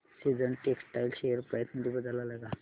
seasons textile share price मध्ये बदल आलाय का